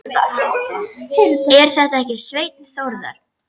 Er þetta ekki Svenni Þórðar?